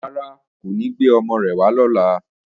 Rárá, kò ní gbé ọmọ rẹ̀ wá lọ́la